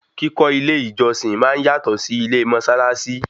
Kíkọ́ ilé ìjọsìn máa ń yátọ̀ sí ilé mósálásí